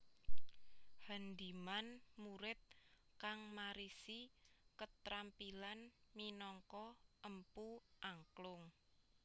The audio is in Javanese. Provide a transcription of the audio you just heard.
Handiman murid kang marisi ketrampilan minangka empu angklung